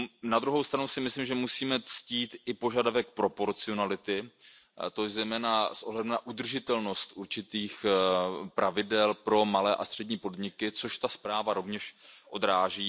Na druhou stranu si myslím, že musíme ctít i požadavek proporcionality, a to zejména s ohledem na udržitelnost určitých pravidel pro malé a střední podniky, což ta zpráva rovněž odráží.